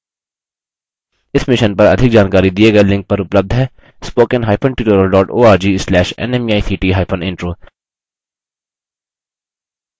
इस mission पर अधिक जानकारी दिए गए लिंक पर उपलब्ध है